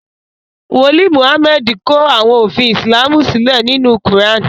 wòlíì Mohammed kò àwọn òfin Islamu sílé nínú kuran.